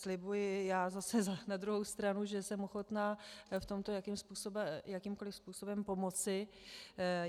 Slibuji zase já na druhou stranu, že jsem ochotná v tomto jakýmkoliv způsobem pomoci.